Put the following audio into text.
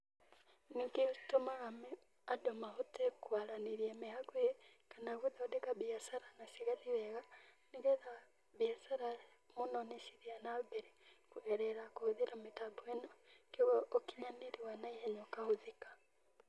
Nĩ gĩtũmaga andũ mahote kwaranĩria me hakuhĩ, kana gũthondeka mbiacara na cigathiĩ wega nĩgetha mbiacara mũno nĩ cithiaga na mbere kũgerera kũhũthĩra mĩtambo ĩno, koguo ũkinyanĩria wa na ihenya ũkahũthĩka.